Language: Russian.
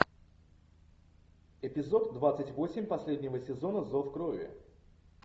эпизод двадцать восемь последнего сезона зов крови